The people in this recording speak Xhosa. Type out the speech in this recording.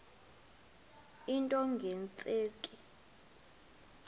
into nge tsheki